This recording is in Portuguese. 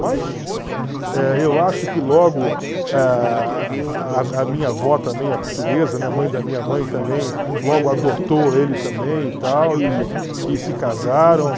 Mas eh eu acho que logo a a a minha avó também, a portuguesa, mãe da minha mãe também, logo adotou ele também e tal, e e se casaram.